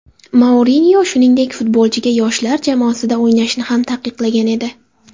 Mourinyo, shuningdek, futbolchiga yoshlar jamoasida o‘ynashni ham taqiqlagan edi .